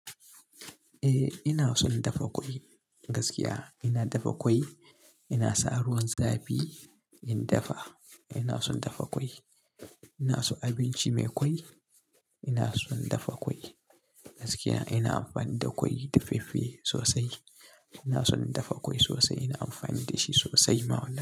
Eh ina son dafa ƙwai gaskiya. Ina dafa ƙwai, ina sa ruwan zafi in dafa. Ina son dafa ƙwai, ina so abinci mai ƙwai. Ina son dafa ƙwai gaskiya. Ina amfani da ƙwai daffeffe sosai. Ina son dafa ƙwai sosai, ina amfani da shi sosai ma.